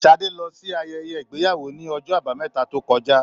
Sadé lọ sí ayẹyẹ ìgbéyàwó ní ọjọ àbámẹ́ta tó kọjá.